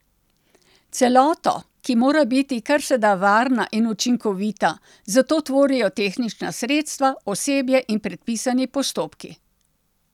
Celoto, ki mora biti kar se da varna in učinkovita, zato tvorijo tehnična sredstva, osebje in predpisani postopki.